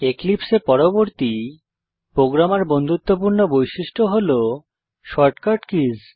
এক্লিপসে এর পরবর্তী প্রোগ্রামার বন্ধুত্বপূর্ণ বৈশিষ্ট্য হল shortcut কিস